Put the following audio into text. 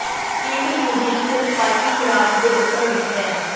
field Museum ਸਿਰਫ parking garage ਦੇ ਉੱਤਰ ਵਿਚ ਹੈ